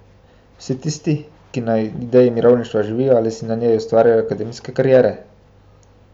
Vsi tisti, ki na ideji mirovništva živijo ali si na njej ustvarjajo akademske kariere?